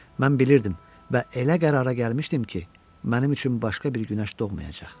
Mən bilirdim və elə qərara gəlmişdim ki, mənim üçün başqa bir günəş doğmayacaq.